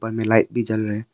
में लाइट भी जल रहे--